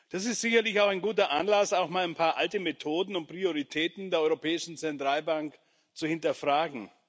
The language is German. Das ist sicherlich auch ein guter Anlass, auch mal ein paar alte Methoden und Prioritäten der Europäischen Zentralbank zu hinterfragen.